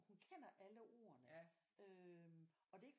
Hun kender alle ordene og det er ikke